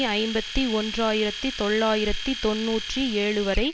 ஐம்பத்தி ஒன்று ஆயிரத்தி தொள்ளாயிரத்தி தொன்னூற்றி ஏழுவரை